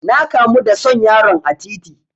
Na kamu da son yaron a titi.